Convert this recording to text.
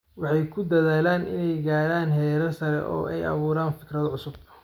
waxay ku dadaalaan inay gaaraan heerar sare oo ay abuuraan fikrado cusub.